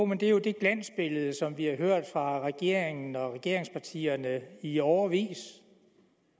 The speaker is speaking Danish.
det er jo det glansbillede som vi har hørt fra regeringen og regeringspartierne i årevis